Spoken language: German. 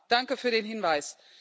Danke für den Hinweis.